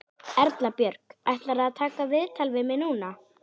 Erla Björg: Ætlarðu að taka viðtal við mig núna?